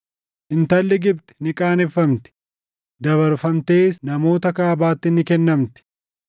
Intalli Gibxi ni qaaneffamti; dabarfamtees namoota kaabaatti ni kennamti.”